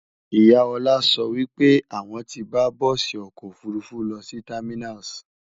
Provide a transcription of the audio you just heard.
ìyá Ola sọ wípé àwon tí bá bùsi ọkọ òfurufú lọsí terminals